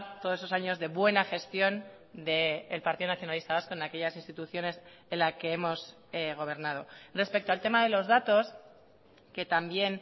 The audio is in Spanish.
todos esos años de buena gestión del partido nacionalista vasco en aquellas instituciones en la que hemos gobernado respecto al tema de los datos que también